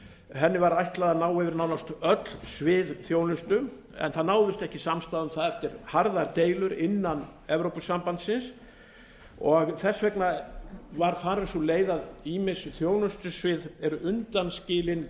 henni var ætlað að ná yfir nánast öll svið þjónustu en það náðist ekki samstaða um það eftir harðar deilur innan evrópusambandsins og þess vegna var farin sú leið að ýmis þjónustusvið eru undanskilin